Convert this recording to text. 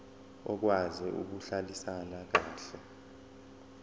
okwazi ukuhlalisana kahle